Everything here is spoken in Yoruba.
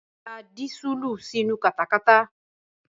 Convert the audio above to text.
Da dísùlù sínu katakata.